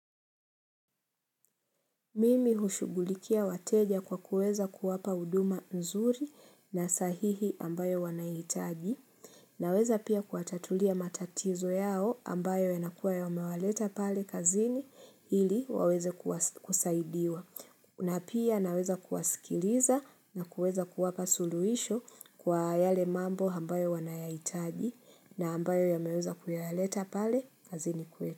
Mimi hushugulikia wateja kwa kuweza kuwapa huduma nzuri na sahihi ambayo wanaitaji. Naweza pia kuatatulia matatizo yao ambayo yanakuwa yamewaleta pale kazini ili waweze kusaidiwa. Na pia naweza kuwasikiliza na kuweza kuwapa suluhisho kwa yale mambo ambayo wanayahitaji na ambayo yameweza kuyaleta pale kazini kwetu.